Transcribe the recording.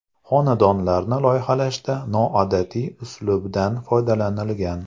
Xonadonlarni loyihalashda noodatiy uslubdan foydalanilgan.